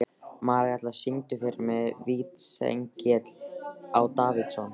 Marella, syngdu fyrir mig „Vítisengill á Davidson“.